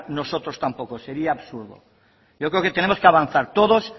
nosotros tampoco sería absurdo yo creo que tenemos que avanzar todos